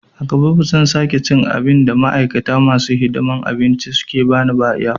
A gaba ba zan sake cin abin da ma'aikata masu hidiman abinci suka bani airport ba